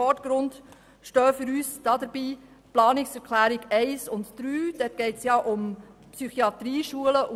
Dabei stehen für uns die Planungserklärungen 1 und 3 im Vordergrund.